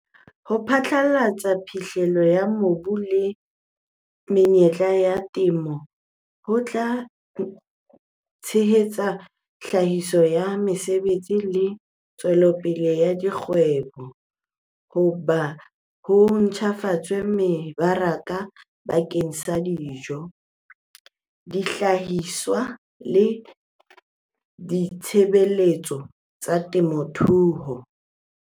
Ho pharalatsa phihlello ya mobu le menyetla ya temo ho tla tshehetsa tlhahiso ya mesebetsi le ntshetsopele ya dikgwebo, ho be ho ntlafatse mebaraka bakeng sa dijo, dihlahiswa le ditshebeletso tsa temothuo.